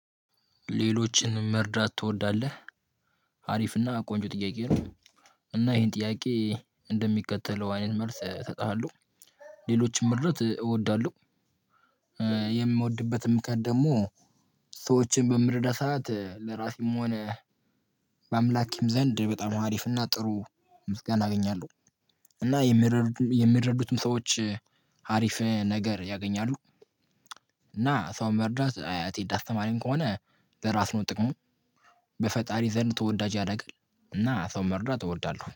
ሌሎችን መርዳት ትወዳለህ አሪፍና ቆንጆ ጥያቄ ነው? እና ይሄን ጥያቄ እንደሚከተለው አይነት መልስ ሰጥሃለሁ። ሌሎችን መርዳት እወዳለሁ። የምወድበትም ምክንያት ደግሞ። ሰዎችን በምረዳ ሰዓት ለራሴም ሆነ በአምላክም ዘንድ በጣም ሀሪፍና ጥሩ ምስጋና አገኛለሁ። እና የሚረዱትም ሰዎች ሀሪፍ ነገር ያገኛሉ። እና ሰው መርዳት ትሄድ አስተማሪን ከሆነ ለራስ ነው ጥቅሙ። በፈጣሪ ዘንድ ተወዳጅ ያደርጋል። እና ሰው መርዳት እወዳለሁ